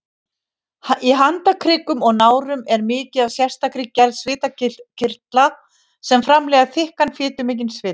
Í handarkrikum og nárum er mikið af sérstakri gerð svitakirtla sem framleiða þykkan, fitumikinn svita.